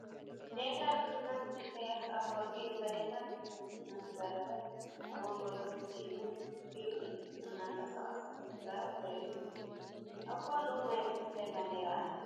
ናይ ኤርትራ ፕሬዚዳንት ኢሳያስ ኣፈወርቂ ንሚድያታት እናተዛረበ ኣብ ወንበር ኮፍ ኢሉ ኢዱ እናንቀሳቀሰ እንትዛረብ ዘርኢ ምስሊ እዩ። ኣብ ጎኑ ናይ ምንታይ ባንዴራ ኣላ